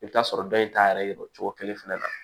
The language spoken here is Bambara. I bɛ t'a sɔrɔ dɔ in t'a yɛrɛ cogo kelen fɛnɛ la